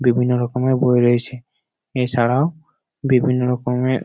বিভিন্ন রকমের বই রয়েছে এছাড়াও বিভিন্ন রকমের --